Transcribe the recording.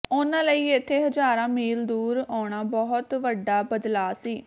ਉਨ੍ਹਾਂ ਲਈ ਇੱਥੇ ਹਜ਼ਾਰਾਂ ਮੀਲ ਦੂਰ ਆਉਣਾ ਬਹੁਤ ਵੱਡਾ ਬਦਲਾਅ ਸੀ